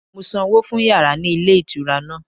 Mo sanwó fún yàrá ní ilé ìtura náà